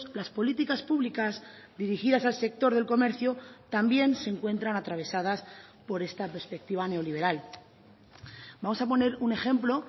las políticas públicas dirigidas al sector del comercio también se encuentran atravesadas por esta perspectiva neoliberal vamos a poner un ejemplo